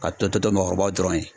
a tɔ to to maakɔrɔbaw dɔrɔnw ye.